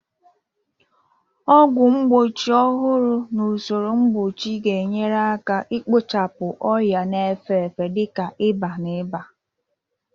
Ọgwụ mgbochi ọhụrụ na usoro mgbochi ga-enyere aka ikpochapụ ọrịa na-efe efe dị ka ịba na ịba